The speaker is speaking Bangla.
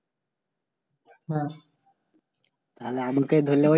হ্যাঁ তাইলে আমাকে ধরলে ওই